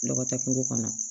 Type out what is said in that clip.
Lɔgɔtɛ kungo kɔnɔ